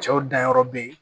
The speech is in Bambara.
Cɛw danyɔrɔ be ye